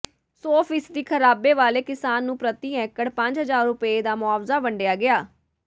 ਸੌ ਫੀਸਦੀ ਖ਼ਰਾਬੇ ਵਾਲੇ ਕਿਸਾਨ ਨੂੰ ਪ੍ਰਤੀ ਏਕੜ ਪੰਜ ਹਜ਼ਾਰ ਰੁਪਏ ਦਾ ਮੁਆਵਜ਼ਾ ਵੰਡਿਆ ਗਿਆ